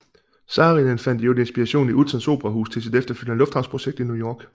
Saarinen fandt for øvrigt inspiration i Utzons operahus til sit efterfølgende lufthavnsprojekt i New York